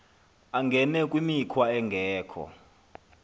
angene kwimikhwa engekho